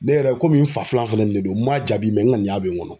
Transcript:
Ne yɛrɛ komi n fa filan filɛ nin ye n m'a jaabi n ŋaniya bɛ n kɔnɔ.